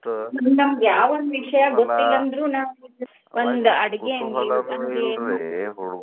ಯಾವ ಒಂದ್ ವಿಷಯ ಗೊತ್ತಿಲ್ಲಾಂದ್ರೂ ನಾವ್ ಒಂದ್ ಅಡ್ಗಿ .